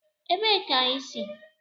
Ebee ka i si?